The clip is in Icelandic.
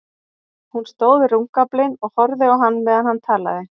Hún stóð við rúmgaflinn og horfði á hann meðan hann talaði.